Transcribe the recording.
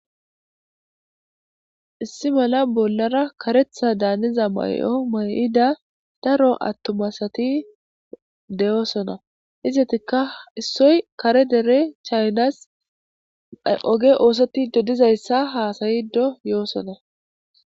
issi mala bollara karetha daaniza mayo mayida daro attumasati deyoosona izatikka issoy kare dere chaynas oge oosotido dizayssa haasayido yoosona